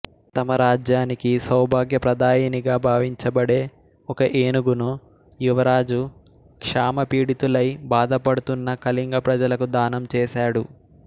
తమ రాజ్యానికి సౌభాగ్య ప్రదాయిణిగా భావించబడే ఒక ఏనుగును యువరాజు క్షామపీడితులై బాధపడుతున్న కళింగ ప్రజలకు దానం చేశాడు